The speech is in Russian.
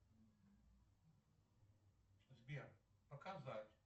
сбер показать